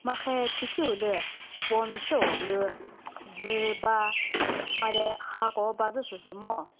mharhe thüthi lü pond sheo lü dzü ba made nha ko ba zü süsü ngo.